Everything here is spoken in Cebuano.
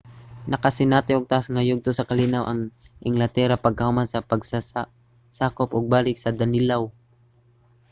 nakasinati og taas nga yugto sa kalinaw ang englatera pagkahuman sa pagkasakop og balik sa danelaw